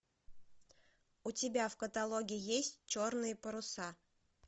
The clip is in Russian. у тебя в каталоге есть черные паруса